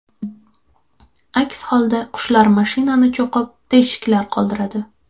Aks holda qushlar mashinani cho‘qib, teshiklar qoldiradi.